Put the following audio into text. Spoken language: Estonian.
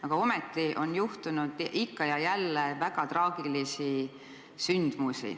Aga ometi on ikka ja jälle juhtunud selles vallas väga traagilisi sündmusi.